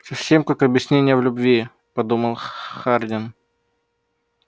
совсем как объяснение в любви подумал хардин